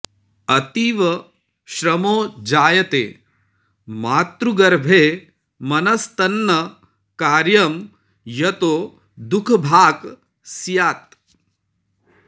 अतीव श्रमो जायते मातृगर्भे मनस्तन्न कार्यं यतो दुःखभाक् स्यात्